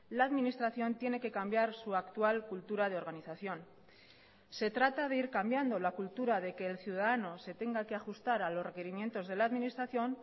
la administración tiene que cambiar su actual cultura de organización se trata de ir cambiando la cultura de que el ciudadano se tenga que ajustar a los requerimientos de la administración